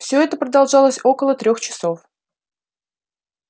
всё это продолжалось около трёх часов